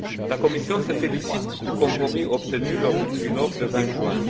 La Commission se félicite du compromis obtenu lors du trilogue du 20 juin.